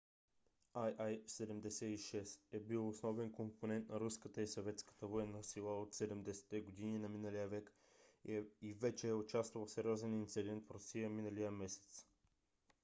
il -76 е бил основен компонент на руската и съветската военна сила от 70 - те години на миналия век и вече е участвал в сериозен инцидент в русия миналия месец